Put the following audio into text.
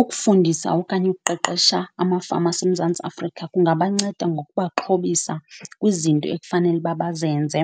Ukufundisa okanye ukuqeqesha amafama aseMzantsi Afrika kungabanceda ngokubaxhobisa kwizinto ekufanele uba bazenze